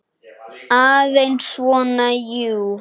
Aðeins svona, jú.